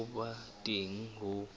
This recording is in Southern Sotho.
ya ho ba teng ho